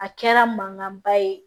A kɛra mankanba ye